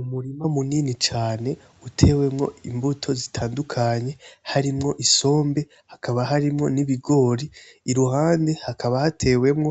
Umurima munini cane uteyemwo imbuto zitandukanye harimwo isombe hakaba harimwo n'ibigori iruhande hakaba hatewemwo